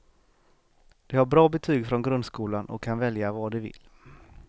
De har bra betyg från grundskolan och kan välja vad de vill.